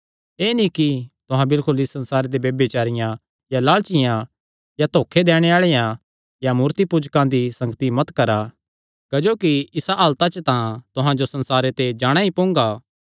एह़ नीं कि तुहां बिलकुल इस संसार दे ब्यभिचारियां या लालचियां या धोखा दैणे आल़ेआं या मूर्तिपूजकां दी संगति मत करा क्जोकि इसा हालता च तां तुहां जो संसारे ते जाणा ई पोंगा